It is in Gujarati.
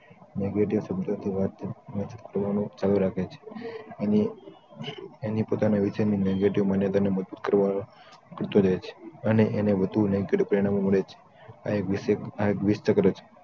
nagative શબ્દોથી વાત ને શોધવાનું ચાલુ રાખે છે એના પોતાના વિચારની negative માન્યતાને મજબૂત કરવા ઘડતો રહે છે અને એમને વધુ negative પ્રેરણા પણ મળે છે આ એક વિષ ને ઘડે છે